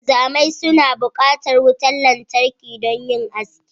Wanzamai suna bukatar wutar lantarki don yin aiki